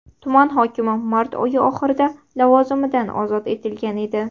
Tuman hokimi mart oyi oxirida lavozimidan ozod etilgan edi.